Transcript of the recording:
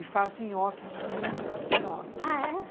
E faço nhoque de domingo, eu faço nhoque. Ah, é?